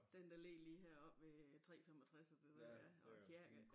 Den der ligger lige heroppe ved 3 65 og det der ja og kirke